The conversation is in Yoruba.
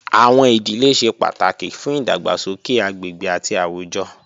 Awọn idile ṣe pataki fun idagbasoke agbegbe ati awujọ